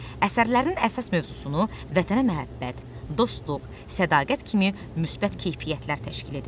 Əsərlərinin əsas mövzusunu vətənə məhəbbət, dostluq, sədaqət kimi müsbət keyfiyyətlər təşkil edir.